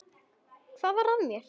Hvað varð af mér?